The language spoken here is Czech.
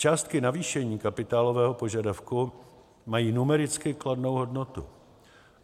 Částky navýšení kapitálového požadavku mají numericky kladnou hodnotu.